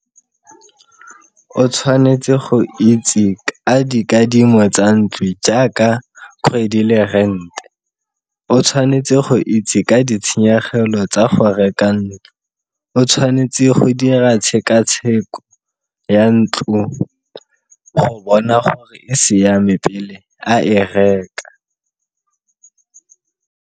O tshwanetse go itse ka dikadimo tsa ntlo jaaka kgwedi le rent, o tshwanetse go itse ka ditshenyegelo tsa go reka ntlo. O tshwanetse go dira tshekatsheko ya ntlo go bona gore e siame pele a e reka.